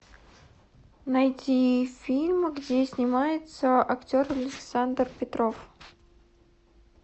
найти фильм где снимается актер александр петров